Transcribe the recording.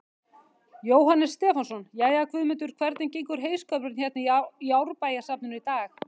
Jóhannes Stefánsson: Jæja, Guðmundur, hvernig gengur heyskapurinn hérna í Árbæjarsafninu í dag?